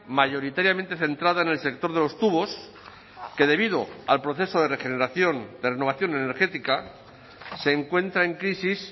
mayoritariamente centrada en el sector de los tubos que debido al proceso de regeneración de renovación energética se encuentra en crisis